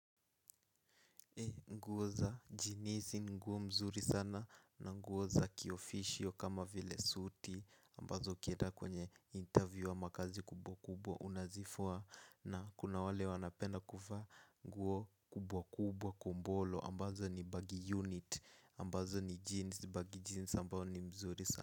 Nguo za jinizi ni nguo mzuri sana na nguo za kiofficial kama vile suti ambazo ukieda kwenye interview ama kazi kubwa kubwa unazifua na kuna wale wanapenda kuvaa nguo kubwa kubwa kumbolo ambazo ni baggy unit ambazo ni jeans baggy jeans ambazo ni mzuri sana.